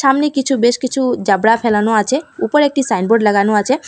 সামনে কিছু বেশ কিছু জাবরা ফেলানো আছে উপরে একটি সাইনবোর্ড লাগানো আছে।